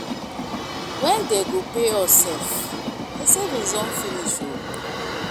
Wen dey go pay us sef my savings don dey finish oo